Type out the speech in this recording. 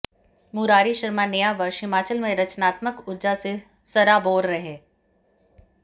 मुरारी शर्मा नया वर्ष हिमाचल में रचनात्मक ऊर्जा से सराबोर रहे